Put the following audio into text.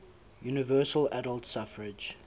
universal adult suffrage